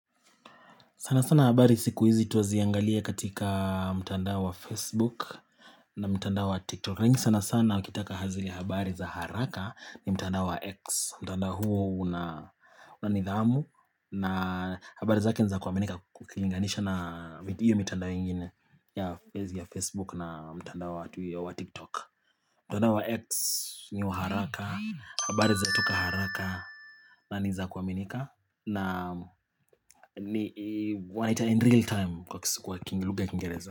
Sana sana habari siku hizi twaziangalia katika mtandao wa Facebook na mtandao wa TikTok lakini sana sana ukitaka ha zile habari za haraka ni mtandao wa X mtandao huo una nidhamu na habari zake ni za kuaminika ukilinganisha na hiyo mitandao ingine ya Facebook na mtandao wa TikTok mtandao wa X ni wa haraka, habari zatoka haraka na nizakuaminika na ni wanaita in real time kwa lugha ya kingereza.